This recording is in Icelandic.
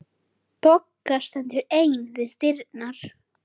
Bogga stendur ein við dyrnar.